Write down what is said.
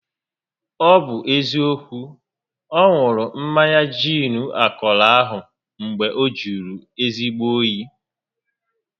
Ọ bụ eziokwu, ọ ṅụrụ mmanya giin akọrọ ahụ mgbe ọ jụrụ ezigbo óyi